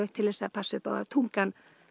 til að passa upp á að tungan